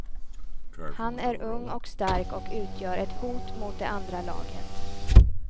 Han är ung och stark och utgör ett hot mot det andra laget.